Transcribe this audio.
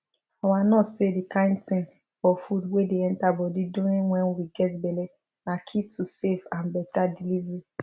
our nurse say the kind thing or food wey dey enter body during wen we get belle na key to safe and better delivery